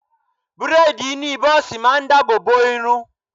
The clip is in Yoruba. Bréèdì ìní bọ́ọ̀sì ma ń dáàbò bo irun